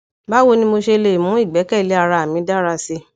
bawo ni mo ṣe le mu igbẹkẹle ara mi dara si